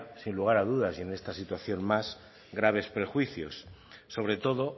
sin lugar a dudas y en esta situación más graves prejuicios sobre todo